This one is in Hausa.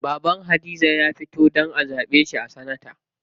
Baban Hadiza ya fito a zaɓe shi a sanata.